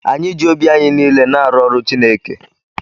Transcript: Anyị ji obi anyị niile na-arụ ọrụ Chineke.